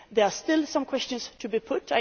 There are still some questions to be put.